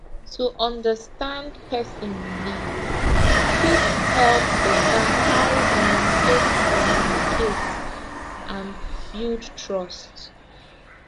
to understand person belief fit help better how una take communicate and build trust